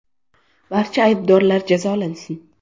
Barcha aybdorlar jazolansin.